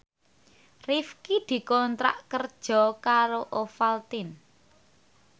Rifqi dikontrak kerja karo Ovaltine